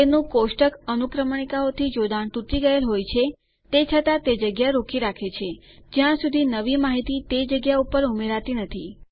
તેનું કોષ્ટક અનુક્રમણીકાઓથી જોડાણ તૂટી ગયેલ હોય છે તે છતાં તે જગ્યા રોકી રાખે છે જ્યાં સુધી નવી માહિતી તે જગ્યા ઉપર ઉમેરાતી નથી